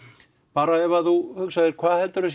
bara ef þú hugsar hvað heldurðu